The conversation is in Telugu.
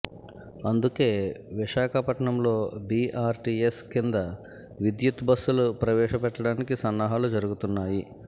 అందుకే విశాఖపట్నంలో బీఆర్టీఎస్ కింద విద్యుత్ బస్సులు ప్రవేశ పెట్టడానికి సన్నాహాలు జరుగుతున్నాయి